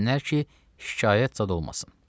Versinlər ki, şikayət zad olmasın.